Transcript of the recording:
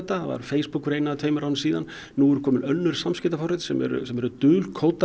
það var Facebook fyrir einu eða tveimur árum síðan nú eru komin önnur samskiptaforrit sem eru sem eru dulkóðuð